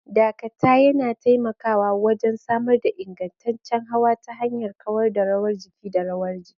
Dakata yana taimakawa wajen samar da ingantaccen hawa ta hanyar kawar da rawar jiki da rawar jiki.